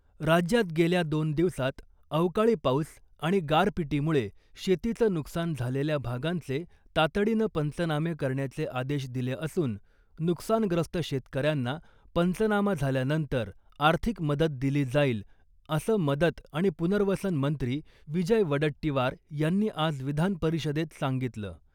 राज्यात गेल्या दोन दिवसात अवकाळी पाऊस आणि गारपिटीमुळे शेतीचं नुकसान झालेल्या भागांचे तातडीनं पंचनामे करण्याचे आदेश दिले असून नुकसानग्रस्त शेतकऱ्यांना पंचनामा झाल्यानंतर आर्थिक मदत दिली जाईल असं मदत आणि पुनर्वसन मंत्री विजय वडट्टीवार यांनी आज विधानपरिषदेत सांगितलं .